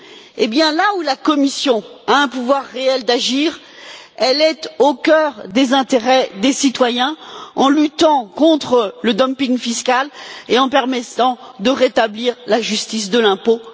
eh bien, là où la Commission a un pouvoir réel d'agir, elle est au cœur des intérêts des citoyens en luttant contre le dumping fiscal et en permettant de rétablir la justice de l'impôt.